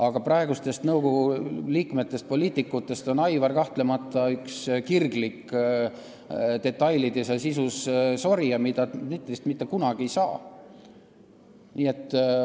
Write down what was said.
Aga praegu nõukogusse kuuluvate poliitikute hulgas on Aivar kahtlemata kirglik detailides ja sisus sorija, Dmitrist sellist inimest mitte kunagi ei saa.